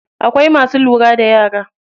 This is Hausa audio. Akwai masu lura da yara.